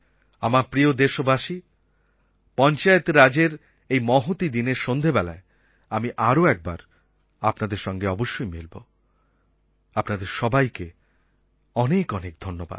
আমার প্রিয় দেশবাসী পঞ্চায়েত রাজের এই মহতী দিনে আমি আরও একবার আপনাদের সঙ্গে অবশ্যই মিলব আপনাদের সবাইকে অনেক অনেক ধন্যবাদ